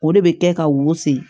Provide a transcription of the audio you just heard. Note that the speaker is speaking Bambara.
O de bɛ kɛ ka wusu